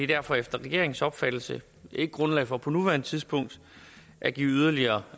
derfor efter regeringens opfattelse ikke grundlag for på nuværende tidspunkt at give yderligere